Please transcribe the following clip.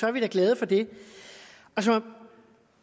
er vi da glade for det så